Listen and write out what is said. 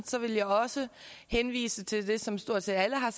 så vil jeg også henvise til det som stort set alle har